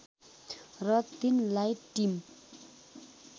र तिनलाई टिम